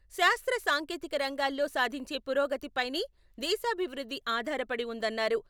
శాస్త్ర సాంకేతిక రంగాల్లో సాధించే పురోగతి పైనే దేశాభివృద్ధి ఆధారపడి ఉందన్నారు.